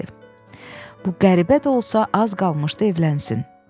Bəli, bu qəribə də olsa, az qalmışdı evlənsin.